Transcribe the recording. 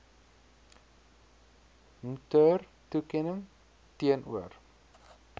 mtur toekenning teenoor